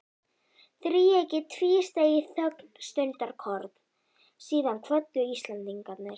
Þríeykið tvísteig í þögn stundarkorn, síðan kvöddu Íslendingarnir.